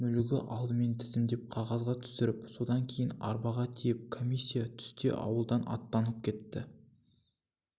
мүлігі алдымен тізімдеп қағазға түсіріп содан кейін арбаға тиеп комиссия түсте ауылдан аттанып кетті